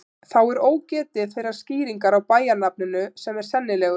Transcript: Þá er ógetið þeirrar skýringar á bæjarnafninu sem er sennilegust.